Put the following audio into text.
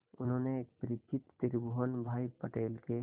उन्होंने एक परिचित त्रिभुवन भाई पटेल के